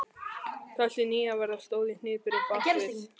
Þessi nýja vera stóð í hnipri bakvið